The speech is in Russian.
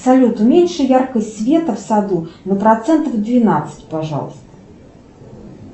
салют уменьши яркость света в саду на процентов двенадцать пожалуйста